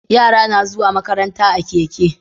Yara na zuwa makaranta a keke